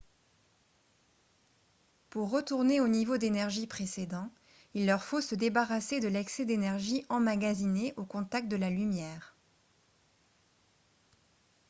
pour retourner au niveau d'énergie précédent il leur faut se débarrasser de l'excès d'énergie emmagasiné au contact de la lumière